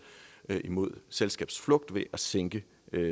imod selskabsflugt ved at sænke